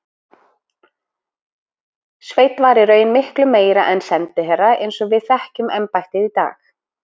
Sveinn var í raun miklu meira en sendiherra eins og við þekkjum embættið í dag.